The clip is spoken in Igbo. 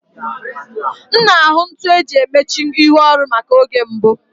M na-ahụ ntu eji emechi ihu oru maka oge mbụ